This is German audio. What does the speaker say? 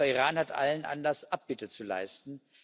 Aber Iran hat allen Anlass, Abbitte zu leisten.